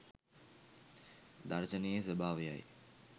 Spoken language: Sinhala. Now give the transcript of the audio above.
දර්ශනයේ ස්වභාවයයි.